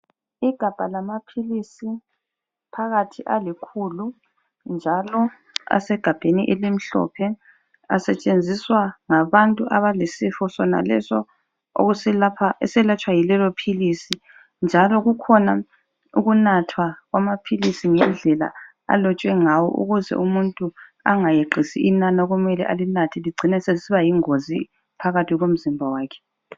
Igabha lamaphilisi phakathi alikhulu njalo asegabheni elimhlophe, asetshenziswa ngabantu abalesifo sonalesi esilatshwa yilelo philisi njalo kukhona ukunathwa kwamaphilisi ngendlela alotshwe ngawo ukuze umuntu engayeqisi inani okumele alinathe licine selisiba yingozi phakathi komzimba wakhe.